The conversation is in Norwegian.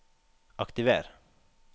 aktiver